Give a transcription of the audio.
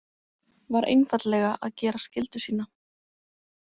Var einfaldlega að gera skyldu sína.